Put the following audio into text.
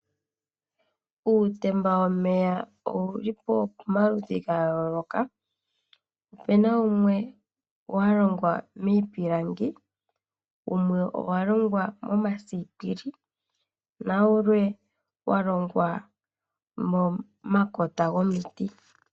Uutemba womeya owuli pomaludhi ga yooloka, opuna wumwe wa longwa miipilangi, wumwe owa longwa momasipili nawulwe wa longwa momakota gomiti.